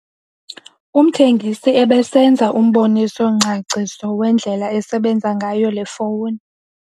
Umthengisi ebesenza umboniso-ngcaciso wendlela esebenza ngayo le fowuni.